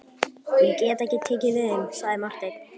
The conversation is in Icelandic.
Ég get ekki tekið við þeim, sagði Marteinn.